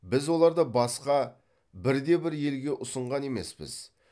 біз оларды басқа бірде бір елге ұсынған емеспіз